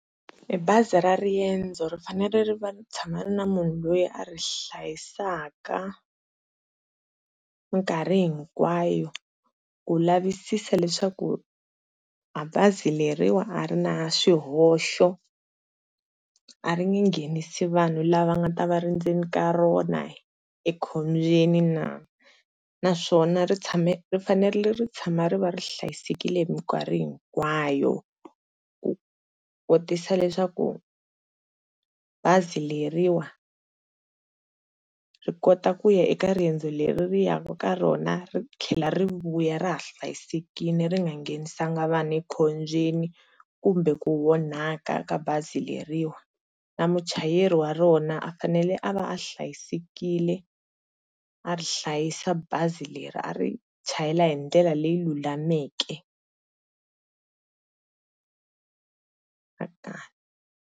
Bazi ra riendzo rifanele ri va ri tshama ri ri na munhu loyi a ri hlayisaka mikarhi hinkwayo, ku lavisisa leswaku bazi leriwani a ri na swihoxo a ri nge nghenisi vanhu lava nga ta va va ri endzeni ka rona ekhombyeni naa, naswona ri fanele ri tshama ri va ri hlayisekile hi mikarhi hinkwayo, ku kotisa leswaku bazi leriwani ri kota ku ya eka rendzo leri ri ya ku ka rona ri tlhela ri vuya ra ha hlayisekile ri nga nghenisanga vanhu ekhombyeni, kumbe ku onhaka ka bazi leriwani na muchayeri wa rona u fanele a va a hlayisekile a ri hlayisa bazi leri a ri chayela hi ndlela leyi lulameke.